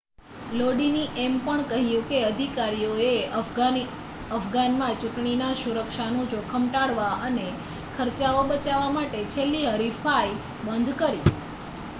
લોડીને એમ પણ કહ્યું કે અધિકારીઓએ અફઘાનમાં ચૂંટણીના સુરક્ષાનું જોખમ ટાળવા અને ખર્ચાઓ બચાવવા માટે છેલ્લી હરીફાઈ બંધ રાખી